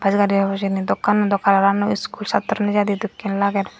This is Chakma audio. gari obo hijeni dokkannoi dw colour annoi iskul satro nejiydi dokkin lager.